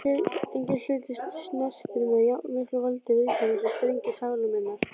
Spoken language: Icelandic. Enginn hlutur snertir með jafnmiklu valdi viðkvæmustu strengi sálar minnar.